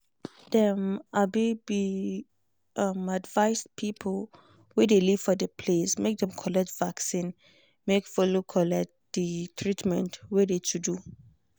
dem be um advised people wey de live for de place make dem collect vaccin make follow collect de treatment wey de to do.